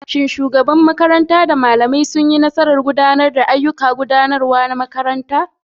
Shin shugabar makaranta da malamai sun yi nasarar gudanar da ayyukan gudanarwa na makarantar?